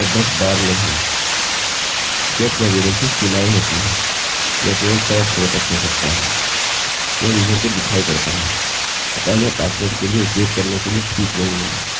get variable की सीमाएँ होती हैं यह केवल 100 अक्षरों तक हो सकता है यह यूजर को दिखाई पड़ता है अतः यह पासवर्ड के लिए उपयोग करने के लिए ठीक नहीं है